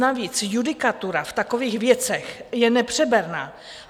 Navíc judikatura v takových věcech je nepřeberná.